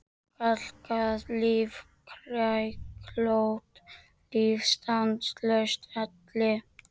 Kalkað líf, kræklótt líf, stanslaus elli.